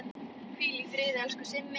Hvíl í friði, elsku Simmi.